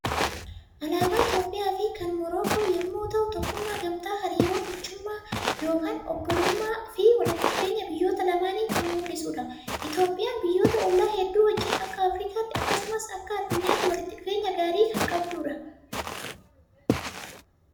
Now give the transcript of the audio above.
Alaabaa Itoophiyaa fi kan Morookoo yommuu ta'u tokkummaa, gamtaa, hariiroo michummaa yookaan obbolummaa fi walitti dhufeenya biyyoota lamaanii kan mul'isudha. Itoophiyaan biyyoota olllaa hedduu wajjin akka Afriikaatti akkasumas akka addunyaatti walitti dhufeenya gaarii kan qabdudha.